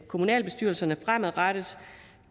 kommunalbestyrelserne fremadrettet